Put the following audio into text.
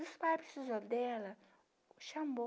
E os pais precisou dela, chamou.